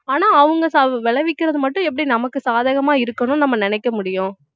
ஆனா அவங்க சா~ விளைவிக்கிறது மட்டும் எப்படி நமக்கு சாதகமா இருக்கணும்ன்னு நம்ம நினைக்க முடியும்